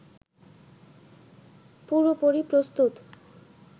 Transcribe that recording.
পুরোপুরি প্রস্তুত